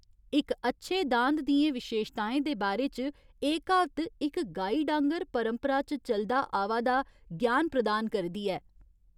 इक अच्छे दांद दियें विशेशताएं दे बारे च एह् क्हावत इक गाइड आंह्गर परंपरा च चलदा आवा दा ज्ञान प्रदान करदी ऐ।